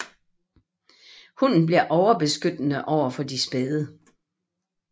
Hunden bliver overbeskyttende overfor de spæde